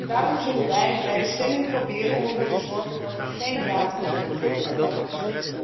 Daarom zullen wij bij de stemming proberen ervoor te zorgen dat er geen datum genoemd wordt in het verslag.